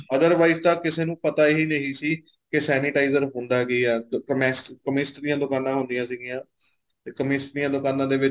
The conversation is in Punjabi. otherwise ਤਾਂ ਕਿਸੇ ਨੂੰ ਪਤਾ ਹੀ ਨਹੀਂ ਸੀ ਕੇ sanitizer ਹੁੰਦਾ ਕੀ ਏ chemist ਦੀਆ ਦੁਕਾਨਾਂ ਹੁੰਦੀਆਂ ਸੀਗੀਆਂ ਕੇ chemist ਦੀਆ ਦੁਕਾਨਾਂ ਦੇ ਵਿੱਚ